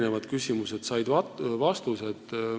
Need küsimused said vastused.